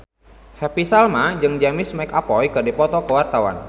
Happy Salma jeung James McAvoy keur dipoto ku wartawan